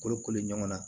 Koro kolo ɲɔgɔnna